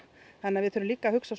þannig að við þurfum líka að hugsa